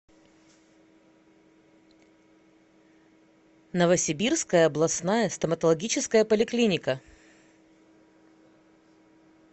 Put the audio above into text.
новосибирская областная стоматологическая поликлиника